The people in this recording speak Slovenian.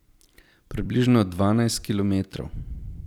Približno dvanajst kilometrov.